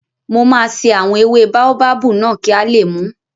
Mo máa ṣe àwọn ewé báóbábù náà kí a lè mùú